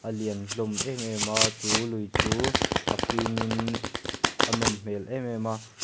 alian hlawm em em a chu lui chu a fim in a nawm hmel em em a--